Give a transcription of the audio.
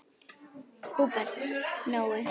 Húbert Nói.